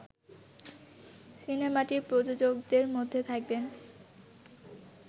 সিনেমাটির প্রযোকদের মধ্যে থাকবেন